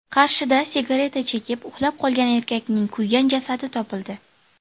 Qarshida sigareta chekib, uxlab qolgan erkakning kuygan jasadi topildi.